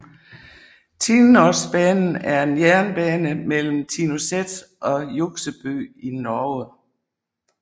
Tinnosbanen er en jernbane mellem Tinnoset og Hjuksebø i Norge